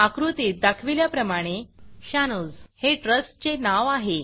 आकृतीत दाखविल्याप्रमाणे शानोझ हे ट्रस्ट चे नाव आहे